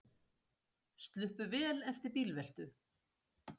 Sluppu vel eftir bílveltu